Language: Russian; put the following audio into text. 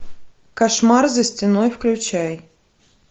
кошмар за стеной включай